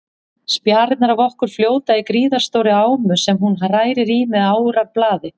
Spjarirnar af okkur fljóta í gríðarstórri ámu sem hún hrærir í með árarblaði.